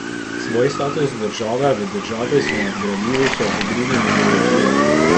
Svoj status države v državi so nadgradili še z drugimi določili.